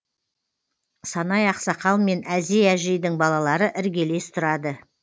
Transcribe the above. санай ақсақал мен әзей әжейдің балалары іргелес тұрады